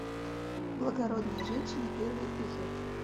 благородная женщина первый эпизод